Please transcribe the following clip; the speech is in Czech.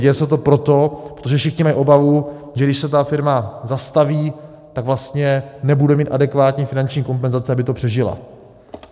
Děje se to proto, protože všichni mají obavu, že když se ta firma zastaví, tak vlastně nebude mít adekvátní finanční kompenzace, aby to přežila.